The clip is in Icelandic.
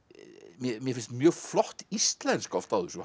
mér finnst mjög flott íslenska oft á þessu